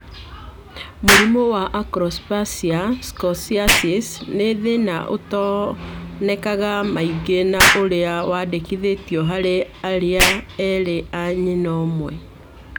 Mũrimũ wa Acrodysplasia scoliosis nĩ thĩna ũtonekanaga maingĩ na ũrĩa wandĩkithĩtio harĩ ariũ erĩ a nyina ũmwe